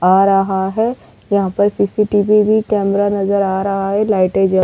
आ रहा है यहां पर सी.सी.टी.वी. भी कैमरा नजर आ रहा है लाइटें जल --